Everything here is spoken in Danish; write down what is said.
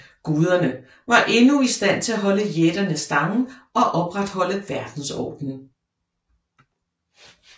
Guderne var endnu i stand til at holde jætterne stangen og opretholde verdensordenen